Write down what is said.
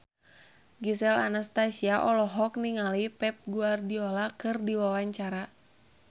Gisel Anastasia olohok ningali Pep Guardiola keur diwawancara